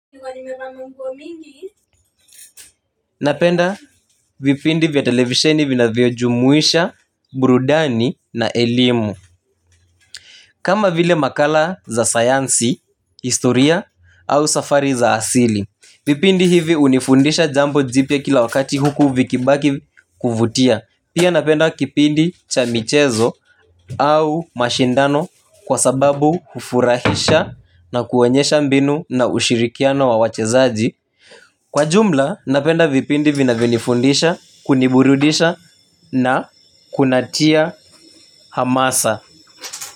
Nilikuwa nimevaa manguo mingi. Napenda vipindi vya televisheni vinavyojumuisha, burudani na elimu. Kama vile makala za sayansi, historia au safari za asili. Vipindi hivi hunifundisha jambo jipya kila wakati huku vikibaki kuvutia. Pia napenda kipindi cha michezo au mashindano kwa sababu hufurahisha na kuonyesha mbinu na ushirikiano wa wachezaji. Kwa jumla napenda vipindi vinavyonifundisha, kuniburudisha na kunatia hamasa.